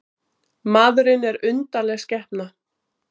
Maðurinn er undarleg skepna.